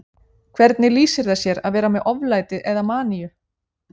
Hvernig lýsir það sér að vera með oflæti eða maníu?